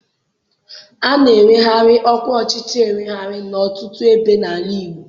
A na-eweghari ọkwa ọchịchị ewegharị n'ọtụtụ ebe n'ala Igbo